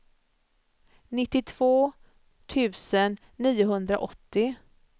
nittiotvå tusen niohundraåttio